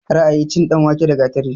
Ra'ayi, cin danwake da gatari